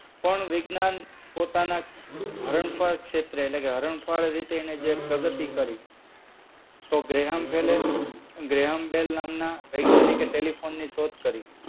પણ વિજ્ઞાન પોતાના હરણફાળ ક્ષેત્રે એટલેકે હરણફાળ ભરી તેને જે પ્રગતિ કરી તો ગ્રેહામ બેલએ ગ્રેહામ બેલ નામના વૈજ્ઞાનિકે ટેલીફોન ની શોધ કરી.